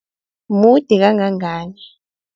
Mude kangangani?